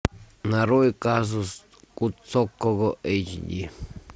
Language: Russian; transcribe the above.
нарой казус кукоцкого эйч ди